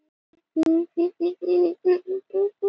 þó mátti ekki sitja oftar en tvisvar í stjórnarráðinu